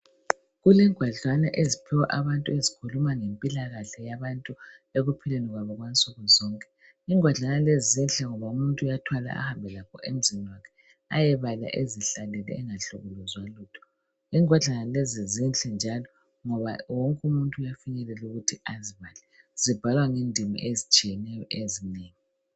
Kulengwadlana eziphiwa abantu ezikhuluma ngempilani yabantu ekumpileni kwabo kwansuku zonke. Ingwadlana lezo zihle ngoba umuntu uyathwala ahambe lazo emzini wakhe. ayebala ezihlalele angahlukumezwa lutho. Ingwadlana lezi zinhle njalo ngoba wonke umuntu uuyafinyelela ukuthi azibhale , zibhalwa ngedimi ezitshiyeneyo ezinengi.